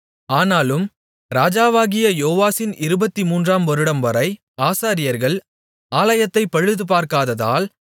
ஆனாலும் ராஜாவாகிய யோவாசின் இருபத்துமூன்றாம் வருடம்வரை ஆசாரியர்கள் ஆலயத்தைப் பழுதுபார்க்காததால்